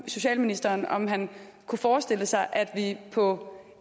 socialministeren om han kunne forestille sig at vi på